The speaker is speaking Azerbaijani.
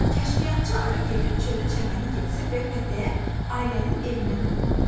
Kəşfiyyatçı arı gedib çölü-çəməni gəzir və pətəyə, ailənin evinə qayıdır.